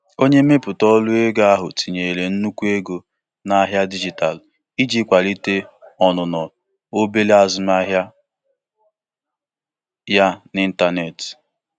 Ndị nwe obere azụmaahịa na-adaberekarị na kaadị kredit iji jikwaa usoro ego wee kpuchie mmefu ndị atụghị anya ya.